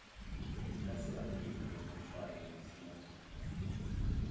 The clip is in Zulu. laseafrika kungafani nasemazweni